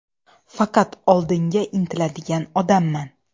Faqat oldinga intiladigan odamman.